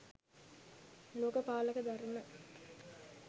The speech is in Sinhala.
ලෝක පාලක ධර්ම